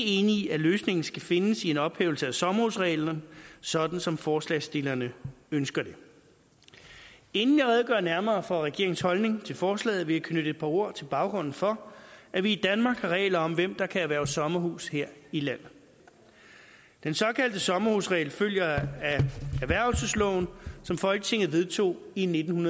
enig i at løsningen skal findes i en ophævelse af sommerhusreglen sådan som forslagsstillerne ønsker det inden jeg redegør nærmere for regeringens holdning til forslaget vil jeg knytte et par ord til baggrunden for at vi i danmark har regler om hvem der kan erhverve sommerhus her i landet den såkaldte sommerhusregel følger af erhvervelsesloven som folketinget vedtog i nitten